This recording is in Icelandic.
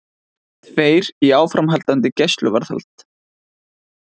Tveir í áframhaldandi gæsluvarðhald